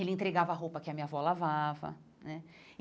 Ele entregava a roupa que a minha avó lavava né.